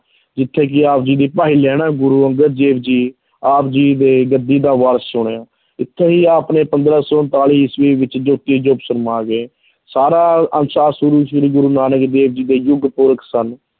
ਜਿੱਥੇ ਕਿ ਆਪ ਜੀ ਦੀ ਭਾਈ ਲਹਿਣਾ ਗੁਰੂ ਅੰਗਦ ਦੇਵ ਜੀ ਆਪ ਜੀ ਦੇ ਗੱਦੀ ਦਾ ਵਾਰਸ ਚੁਣਿਆ, ਇੱਥੇ ਹੀ ਆਪ ਨੇ ਪੰਦਰਾਂ ਸੌ ਉਨਤਾਲੀ ਈਸਵੀ ਵਿੱਚ ਜੋਤੀ ਜੋਤ ਸਮਾ ਗਏ, ਸਾਰਾ ਅੰਸ਼ ਸ੍ਰੀ ਗੁਰੂ ਨਾਨਕ ਦੇਵ ਜੀ ਦੇ ਯੁੱਗ ਪੁਰਖ ਸਨ।